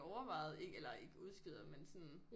Overvejet ikke eller ikke udskyder men sådan